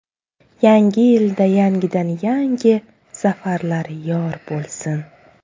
Yangi yilda yangidan-yangi zafarlar yor bo‘lsin!